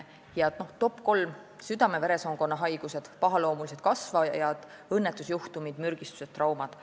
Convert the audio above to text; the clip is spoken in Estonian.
Ja top 3: südame-veresoonkonna haigused, pahaloomulised kasvajad, õnnetusjuhtumid – mürgistused, traumad.